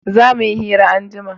za muyi hira anjima